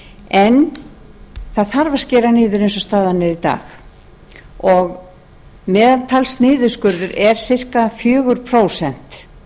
en það þarf að skera niður eins og staðan er í dag og meðaltalsniðurskurður er ca fjögur prósent